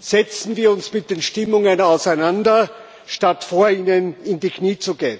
setzen wir uns mit den Stimmungen auseinander, statt vor ihnen in die Knie zu gehen,